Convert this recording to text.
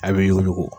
A bɛ yuku